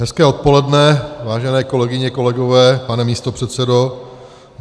Hezké odpoledne, vážené kolegyně, kolegové, pane místopředsedo.